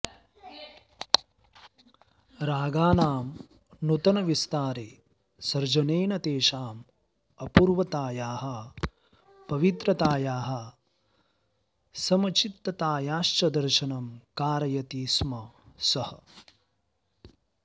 रागाणां नूतनविस्तारे सर्जनेन तेषाम् अपूर्वतायाः पवित्रतायाः समचित्ततायाश्च दर्शनं कारयति स्म सः